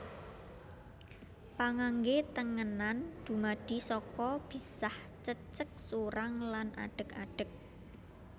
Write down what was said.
Pangangge tengenan dumadi saka bisah cecek surang lan adeg adeg